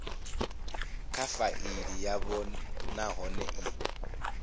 kha faili yavho nahone i